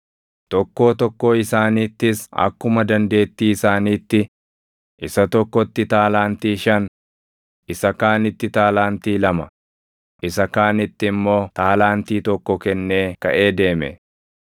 Tokkoo tokkoo isaaniittis akkuma dandeettii isaaniitti, isa tokkotti taalaantii shan, isa kaanitti taalaantii lama, isa kaanitti immoo taalaantii tokko kennee kaʼee deeme.